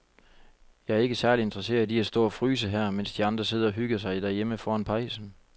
Jeg er ikke særlig interesseret i at stå og fryse her, mens de andre sidder og hygger sig derhjemme foran pejsen.